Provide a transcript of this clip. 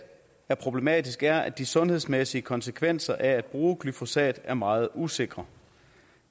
er problematisk er at de sundhedsmæssige konsekvenser af at bruge glyfosat er meget usikre